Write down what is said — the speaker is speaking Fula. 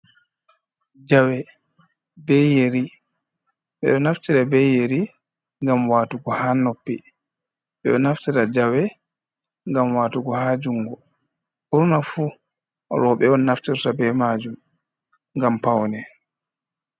Jawe be yeri. Ɓe ɗo naftira be yeri ngam waatugo ha noppi. Ɓe ɗo naftira jawe ngam waatugo ha jungo. Ɓurnaa fu rooɓe on naftirta be majum ngam pawne.